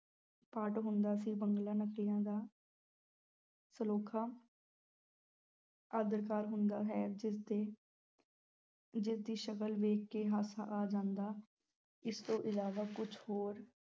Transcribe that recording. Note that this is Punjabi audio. ਪਾਰਟ ਹੁੰਦਾ ਹੈ, ਬਿਗਲਾ ਨਕਲਾਂ ਦਾ ਸਲੋਖਾ ਅਦਾਕਾਰ ਹੁੰਦਾ ਹੈ ਜਿਸ ਦੇ ਜਿਸਦੀ ਸ਼ਕਲ ਵੇਖ ਕੇ ਹਾਸਾ ਆ ਜਾਂਦਾ, ਇਸ ਤੋਂ ਇਲਾਵਾ ਕੁਛ ਹੋਰ